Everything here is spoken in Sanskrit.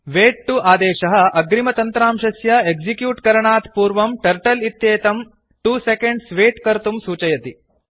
वैत् 2 आदेशः अग्रिमतन्त्रांशस्य एक्सिक्यूट् करणात् पूर्वं टर्टल इत्येतं 2 सेकेण्ड् वैत् कर्तुं सूचयति